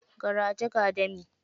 Garaje, ga dami.